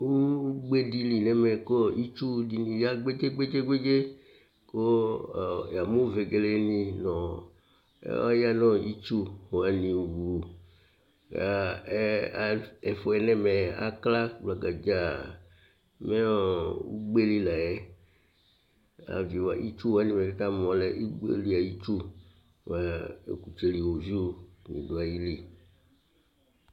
Ʋgbe di li nʋ ɛmɛ kʋ itsʋ dìní ya kpege kpege kpege Yamʋ vegele ni ɔya nʋ itsu wani wu Ɛfʋɛ nʋ ɛmɛ akla gblagadza Mɛ ʋgbeli la yɛ Itsu wani bʋakʋ ɛkamu yɛ alɛ agbeli ayu itsu bʋa ɔkutsɛli woviʋ la du ayìlí